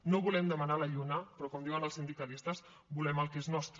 no volem demanar la lluna però com diuen els sindicalistes volem el que és nostre